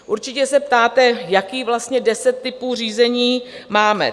Určitě se ptáte, jakých vlastně deset typů řízení máme.